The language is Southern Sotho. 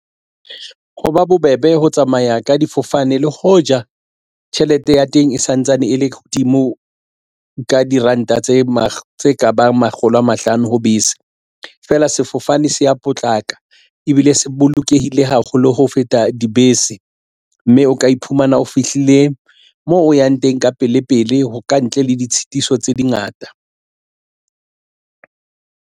Ho ba bobebe ho tsamaya ka difofane le hoja tjhelete ya teng e santsane e le hodimo ka diranta tse mo tse kabang makgolo a mahlano ho bese feela sefofane se ya potlaka ebile se bolokehile haholo ho feta dibese mme o ka iphumana o fihlile moo o yang teng ka pele pele ho ka ntle le ditshitiso tse dingata.